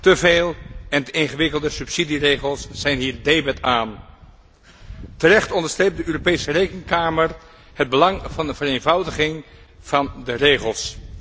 Te veel en te ingewikkelde subsidieregels zijn hier debet aan. Terecht onderstreept de Europese Rekenkamer het belang van de vereenvoudiging van de regels.